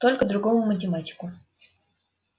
только другому математику